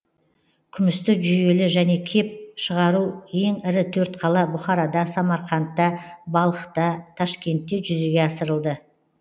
күмісті жүйелі және кеп шығару ең ірі төрт қала бұхарада самарқандта балхта ташкентте жүзеге асырылды